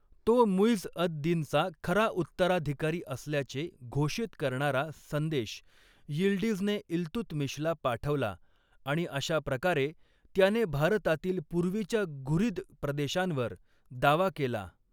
तो मुइझ अद दिनचा खरा उत्तराधिकारी असल्याचे घोषित करणारा संदेश यिल्डीझने इल्तुतमिशला पाठवला आणि अशा प्रकारे, त्याने भारतातील पूर्वीच्या घुरीद प्रदेशांवर दावा केला.